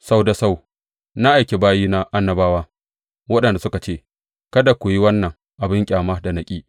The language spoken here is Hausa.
Sau da sau na aiki bayina annabawa, waɗanda suka ce, Kada ku yi wannan abin ƙyama da na ƙi!’